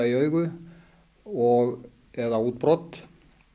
í augu og eða útbrot